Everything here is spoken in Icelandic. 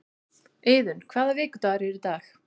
Iðunn, hvaða vikudagur er í dag?